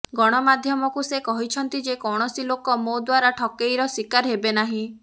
ଗଣମାଧ୍ୟମକୁ ସେ କହିଛନ୍ତି ଯେ କୌଣସି ଲୋକ ମୋ ଦ୍ବାରା ଠକେଇର ଶିକାର ହେବେ ନାହିଁ